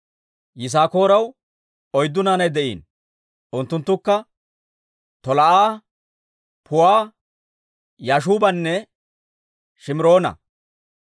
Yisaakooraw oyddu naanay de'iino; unttunttukka Tolaa'a, Puuwa, Yaashuubanne Shimiroona.